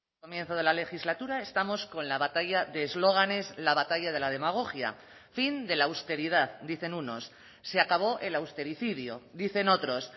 comienzo de la legislatura estamos con la batalla de eslóganes la batalla de la demagogia fin de la austeridad dicen unos se acabó el austericidio dicen otros